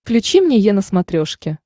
включи мне е на смотрешке